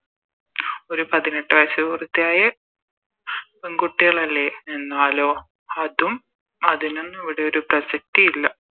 ഒരു പതിനെട്ട് വയസ്സ് പൂർത്തിയ പെൺകുട്ടികളല്ലേ എന്നാലോ അതും അതിനൊന്നും ഇവിടെയൊരു പ്രസക്തി ഇല്ല